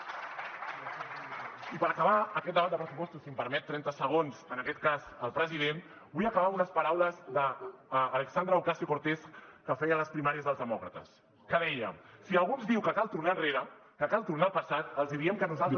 i per acabar aquest debat de pressupostos si em permet trenta segons en aquest cas el president vull acabar amb unes paraules d’alexandria ocasio cortez que feia les primàries dels demòcrates que deia si algú ens diu que cal tornar enrere que cal tornar al passat els diem que nosaltres